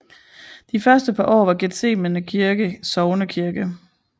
De første par år var Gethsemane kirke sognekirke